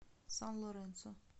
сан лоренсо